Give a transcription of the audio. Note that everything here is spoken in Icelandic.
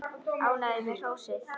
Ánægður með hrósið.